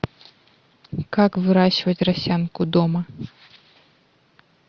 как выращивать росянку дома